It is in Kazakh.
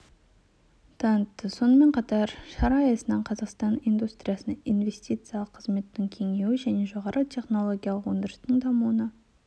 танытты сонымен қатар шара аясында қазақстанның индустриясына инвестициялық қызметтің кеңеюі мен жоғары технологиялық өндірістің дамуына